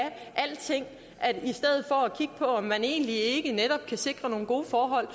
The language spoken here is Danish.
alting i om man egentlig ikke netop kan sikre nogle gode forhold